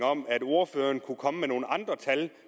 om at ordføreren kunne komme med nogle andre tal